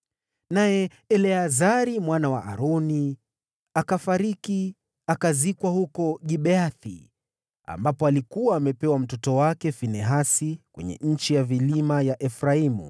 Naye Eleazari mwana wa Aroni akafariki akazikwa huko Gibea, mlima aliokuwa amepewa mtoto wake Finehasi, kwenye nchi ya vilima ya Efraimu.